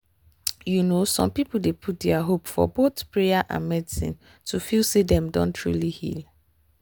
you know some people dey put their hope for both prayer and medicine to feel say dem don truly heal.